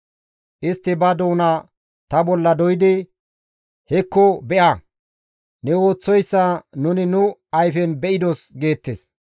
Istti ba doona ta bolla doydi, «Hekko be7a! Ne ooththoyssa nuni nu ayfen be7idos» geettes.